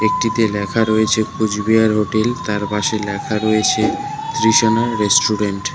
একটিতে ল্যাখা রয়েছে কুচবিহার হোটেল তার পাশে ল্যাখা রয়েছে তৃষনা রেস্টুরেন্ট ।